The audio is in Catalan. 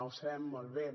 ho sabem molt bé